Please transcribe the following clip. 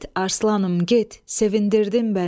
Get arslanım, get, sevindirdin məni.